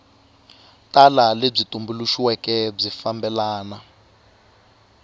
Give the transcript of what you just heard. tala lebyi tumbuluxiweke byi fambelana